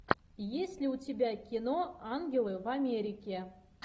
есть ли у тебя кино ангелы в америке